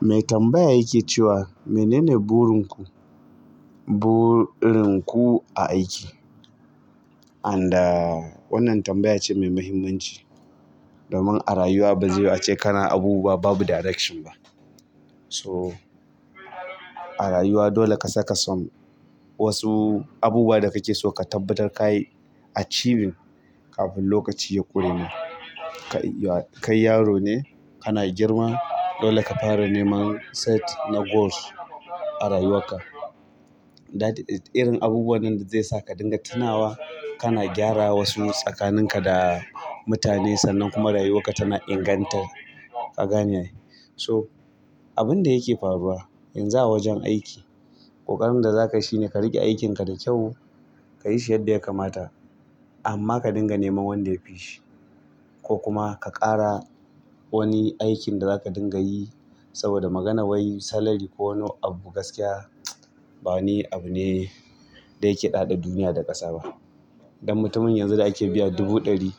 Mai tambaya yake cewa menene burin ku, burin ku a aiki? Anda wannan tambaya ce mai muhimmanci. Domin a rayuwa ba zaiyu ace kana abubuwa babu direction ba. So a rayuwa dole ka saka son wasu abubuwa da kake so ka tabbatar ka yi achieving kafin lokaci ya ƙure ma. Kai yaro ne kana girma, dole ka fara neman set na goals a rayuwakka. Irin abubuwan nan da zaisa ka dinga tunawa kana gyara wasu tsakanin ka da mutane sannan kuma rayuwarka tana inganta, ka gane ai so abin da yake faruwa yanzu a wajen aiki ƙoƙarin da za kai shine ka riƙe aikin ka da kyau, ka yi shi yadda ya kamata amma ka dinga neman wanda ya fi shi. Ko kuma ka ƙara wani aikin da zaka dingayi saboda maganar wani salary ko wani abu gaskiya mtsw ba wani abu ne da yake ɗaɗa duniya da ƙasa ba. Dan mutumin yanzu da ake biya dubu ɗari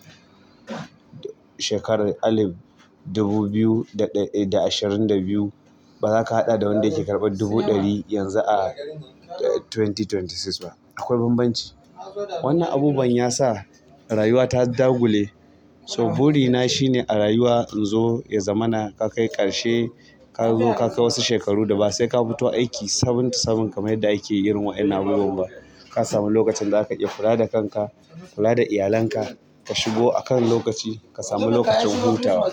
shekarar alif dubu biyu da ɗa ashirin da biyu ba za ka haɗa da wanda yake karɓan dubu ɗari yanzu a dubu biyu da ashirin da shida ba. Akwai bambanci. Wannan abubuwan ya sa rayuwa ta dagule. So buri na shine a rayuwa in zo ya zamana ka kai ƙarshe kazo ka kai wasu shekaru da ba sai ka fito aiki seven to seven kamar yadda ake irin wa ƴannan abubuwan ba. Ka sami lokacin da za ka iya kula da kanka, kula da iyalanka. Ka shigo a kan lokaci, ka sami lokacin hutawa.